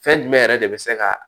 Fɛn jumɛn yɛrɛ de bɛ se ka